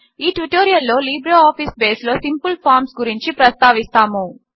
ఈ ట్యుటోరియల్లో లిబ్రేఆఫీస్ బేస్లో సింపిల్ ఫార్మ్స్ గురించి ప్రస్తావిస్తాము